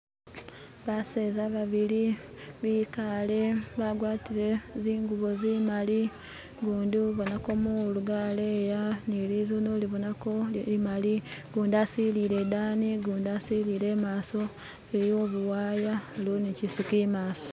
Baseza babili bikale bagwatile zingubo zimali gundi ubonako mulu galeya nilizune ulibonako limali gundi asilile idani gundi asilile imaso iliwo buwaya iliwo ni kyisiki imaso